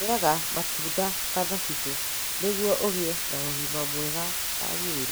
Ũrĩaga matunda ta thabibũ nĩguo ũgĩe na ũgima mwega wa mwĩrĩ.